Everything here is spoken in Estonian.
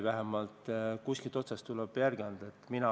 Vähemalt kuskilt otsast tuleb järele anda.